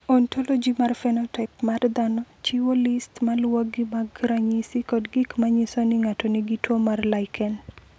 "Ontologi mar phenotaip mar dhano chiwo list ma luwogi mag ranyisi kod gik ma nyiso ni ng’ato nigi tuwo mar Lichen."